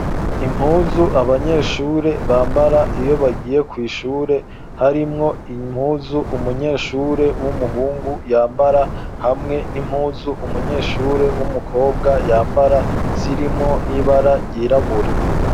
impuzu abanyeshure bambara iyo bagiye kw,ishure harimwo impuzu umunyeshure w'umuhungu yambara hamwe n'impuzu umunyeshure w'umukobwa yambara zirimo n'ibara ryirabura